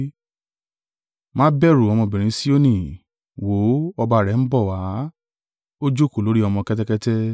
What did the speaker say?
“Má bẹ̀rù, ọmọbìnrin Sioni; wò ó, ọba rẹ ń bọ̀ wá, o jókòó lórí ọmọ kẹ́tẹ́kẹ́tẹ́.”